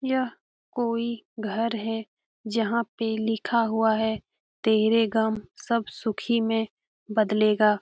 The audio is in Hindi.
यह कोई घर है जहाँ पे लिखा हुआ है तेरे गम सब सुखी में बदलेगा।